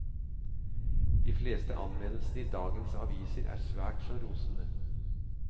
De fleste anmeldelsene i dagens aviser er svært så rosende.